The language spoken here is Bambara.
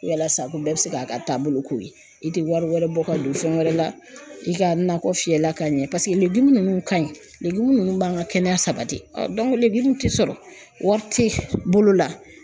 Yalasa ko bɛɛ bɛ se k'a ka taabolo ko ye, i tɛ wari wɛrɛ bɔ ka don fɛn wɛrɛ la, i ka nakɔ fiyɛla ka ɲɛ paseke ninnu ka ɲi ninnu b'an ka kɛnɛya sabati tɛ sɔrɔ wari tɛ bolo la